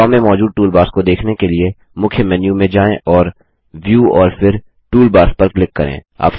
draw में मौजूद toolbars को देखने के लिए मुख्य मेन्यू में जाएँ और व्यू और फिर टूलबार्स पर क्लिक करें